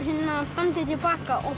bandið til baka og